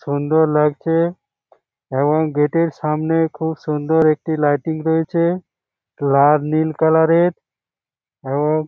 সুন্দর লাগছে এবং গেট এর সামনে খুব সুন্দর একটি লাইটিং রয়েছে লাল নীল কালার এর এবং --